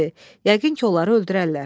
Yəqin ki, onları öldürərlər.